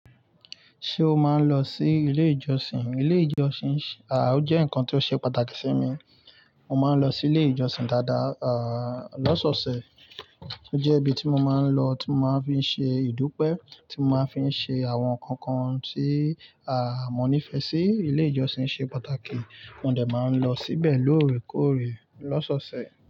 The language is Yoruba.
Ṣé o máa ń lọ sí ilé ìjọsìn? Ilé ìjọsìn, ó jẹ́ nǹkan tó ṣe pàtàkì sí mi. Mo máa ń lọ sí ilé ìjọsìn dáadáa, lọ́sọ̀ọ̀sẹ̀. Ó jẹ́ ibi tí mo máa ń lọ, tí mo máa ń fi ṣe ìdúpẹ́, tí mo máa ń fi ṣe àwọn nkankan tí mo nífẹ̀ẹ́ sí. Ilé ìjọsìn ṣe pàtàkì, mo dẹ̀ máa ń lọ síbẹ̀ lóòrèkóòrè lọ́sọ̀ọ̀sẹ̀.